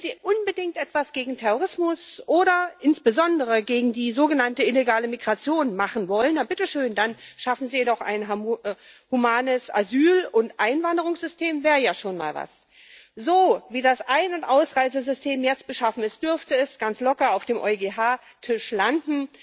Wenn Sie unbedingt etwas gegen Terrorismus oder insbesondere gegen die sogenannte illegale Migration machen wollen, dann, bitte schön, schaffen Sie doch ein humanes Asyl und Einwanderungssystem das wäre ja schon mal was. So, wie das Ein und Ausreisesystem jetzt beschaffen ist, dürfte es ganz locker auf dem EuGH Tisch landen.